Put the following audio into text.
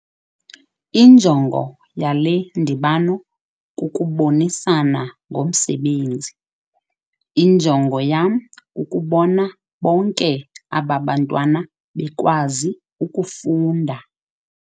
Injongo yale ndibano kukubonisana ngomsebenzi. injongo yam kukubona bonke aba bantwana bekwazi ukufunda